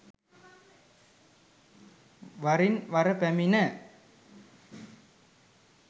වරින් වර පැමිණ